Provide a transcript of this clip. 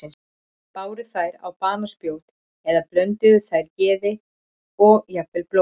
Bárust þær á banaspjót eða blönduðu þær geði og jafnvel blóði?